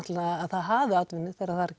að það hafi atvinnu þegar þar